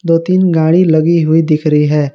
दो तीन गाड़ी लगी हुई दिख रही है।